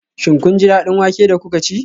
Shin kun ji daɗin wake da kuka ci?